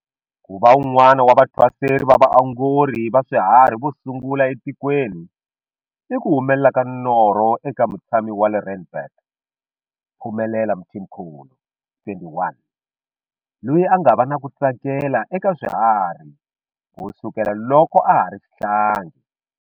Ku va un'wana wa vathwaseri va vaongori va swihari vo sungula etikweni i ku humelela ka norho eka mutshami wa le Randburg, Phumelela Mthimkhulu, 21, loyi a nga va na ku tsakela eka swiharhi ku sukela loko a ha ri xihlangi.